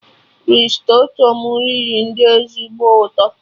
Risotto m riri dị ezigbo ụtọ